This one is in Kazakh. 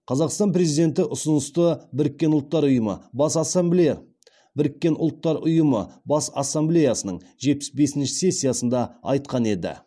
қазақстан президенті ұсынысты біріккен ұлттар ұйымы бас ассамблеясының жетпіс бесінші сессиясында айтқан еді